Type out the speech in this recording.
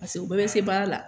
Paseke u bɛɛ be se baara la.